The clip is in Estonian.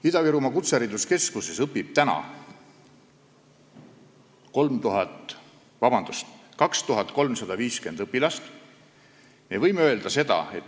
Ida-Virumaa Kutsehariduskeskuses õpib 2350 õpilast.